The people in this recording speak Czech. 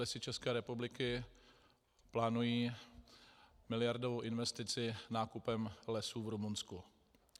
Lesy České republiky plánují miliardovou investici nákupem lesů v Rumunsku.